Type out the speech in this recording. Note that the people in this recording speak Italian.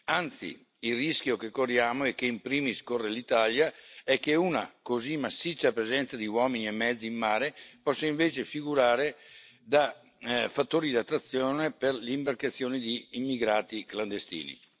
Anzi, il rischio che corriamo, e che in primis corre l'Italia, è che una così massiccia presenza di uomini e mezzi in mare possa invece figurare da fattore di attrazione per le imbarcazioni di immigrati clandestini.